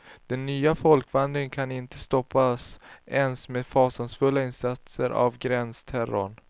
De nya folkvandringarna kan inte stoppas ens med fasansfulla insatser av gränsterror.